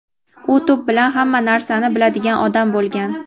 U to‘p bilan hamma narsani biladigan odam bo‘lgan.